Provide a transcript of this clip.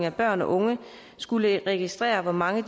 af børn og unge skulle registrere hvor mange